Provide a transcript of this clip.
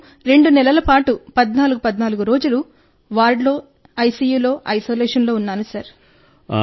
నేను 2 నెలల పాటు 1414 రోజులు వార్డులో ఐసియులో ఐసోలేషన్లో ఉన్నా సార్